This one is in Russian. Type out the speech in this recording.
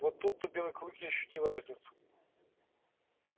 вот тут то белый клык и ощутил эту разницу